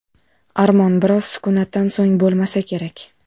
Armon (biroz sukunatdan so‘ng) bo‘lmasa kerak.